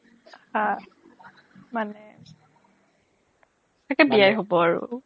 হা মানে চাগে বিয়াই হ'ব আৰু